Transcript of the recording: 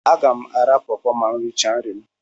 Aga m ara pọọpo ma m richaa nri.